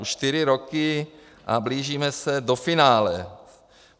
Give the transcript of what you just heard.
Už čtyři roky a blížíme se do finále.